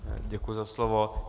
Děkuji za slovo.